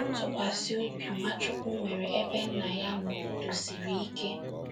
Ntụkwasịobi Nwachukwu nwere ebe nna ya nọ kwụdosiri ike